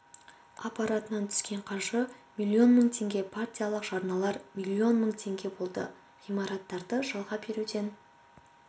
аппаратынан түскен қаржы миллион мың теңге партиялық жарналар миллион мың теңге болды ғимараттарды жалға беруден